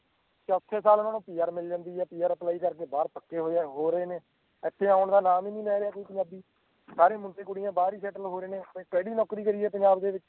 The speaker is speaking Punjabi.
ਚੌਥੇ ਸਾਲ ਓਹਨਾ ਨੂੰ PR ਮਿਲ ਜਾਂਦੀ ਆ PRapply ਕਰਕੇ ਬਾਹਰ ਪੱਕੇ ਹੋ ਰਹੇ ਨੇ ਇਥੇ ਆਉਣ ਦਾ ਨਾਮ ਹੀ ਨੀ ਲੈ ਰਿਹਾ ਕੋਈ ਪੰਜਾਬੀ ਸਾਰੇ ਮੁੰਡੇ ਕੁੜੀਆਂ ਬਾਹਰ ਹੀ settle ਹੋ ਰਹੇ ਨੇ ਓਥੇ ਤੇ ਕਿਹੜੀ ਨੌਕਰੀ ਕਰੀਏ ਪੰਜਾਬ ਦੇ ਵਿਚ